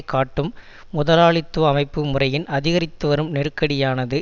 காட்டும் முதலாளித்துவ அமைப்பு முறையின் அதிகரித்துவரும் நெருக்கடியானது